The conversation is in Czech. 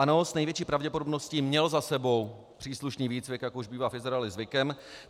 Ano, s největší pravděpodobností měl za sebou příslušný výcvik, jak už bývá v Izraeli zvykem.